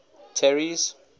terry's